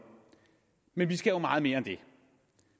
men vi skal jo meget mere end det